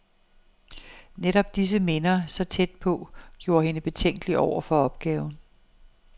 Netop disse minder, så tæt på, gjorde hende betænkelig over for opgaven.